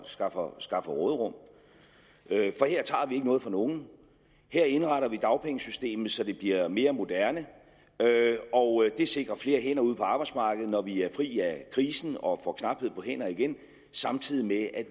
skaffer skaffer råderum for her tager vi ikke noget fra nogen her indretter vi dagpengesystemet så det bliver mere moderne og det sikrer flere hænder ude på arbejdsmarkedet når vi er fri af krisen og får knaphed på hænder igen samtidig med at